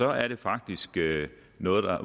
at det faktisk er noget